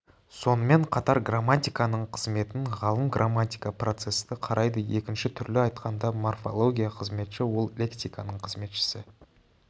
сонымен қатар грамматиканың қызметін ғалым грамматика процесті қарайды екінші түрлі айтқанда морфология қызметші ол лексиканың қызметшісі